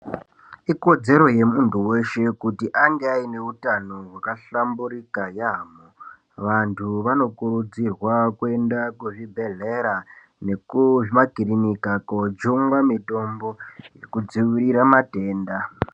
Ikodzero yemuntu weshe kuti ange aine utano hwakahlamburika yaamho. Vantu vanokurudzirwa kuenda kuzvibhedhlera nekuzvimakirinika kojungwa mitombo yekudziirira matenda.